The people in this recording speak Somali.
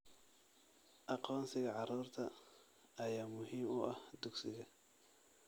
Aqoonsiga carruurta ayaa muhiim u ah dugsiga.